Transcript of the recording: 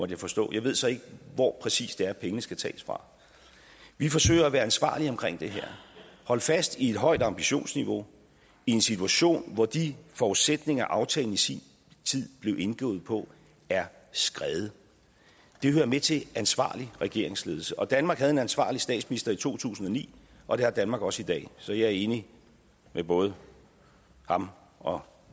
jeg forstå jeg ved så ikke hvor præcis det er at pengene skal tages fra vi forsøger at være ansvarlige omkring det her holde fast i et højt ambitionsniveau i en situation hvor de forudsætninger aftalen i sin tid blev indgået på er skredet det hører med til ansvarlig regeringsledelse og danmark havde en ansvarlig statsminister i to tusind og ni og det har danmark også i dag så jeg er enig med både ham og